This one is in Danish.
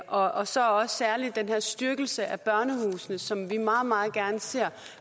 og så også særlig den her styrkelse af børnehusene som vi meget meget gerne ser